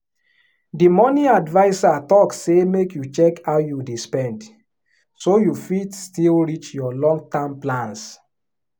the money adviser talk say make you check how you dey spend so you fit still reach your long-term plans